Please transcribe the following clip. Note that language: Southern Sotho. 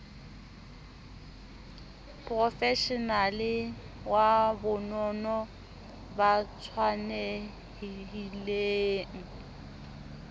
profeshenale wa bonono ba tshwanelhileng